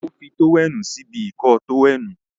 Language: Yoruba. o fí tówẹ́ẹ̀nù sí ibi Ìkọ́ọ tówẹ́ẹ̀nù.